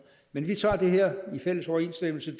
men vi tager det her i fælles overensstemmelse